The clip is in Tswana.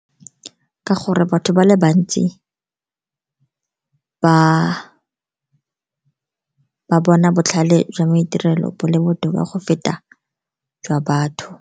Ka gore batho ba le bantsi ba bona botlhale jwa maitirelo bo le botoka go feta jwa batho.